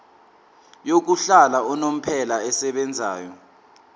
yokuhlala unomphela esebenzayo